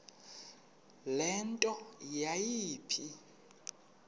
le nto yayipha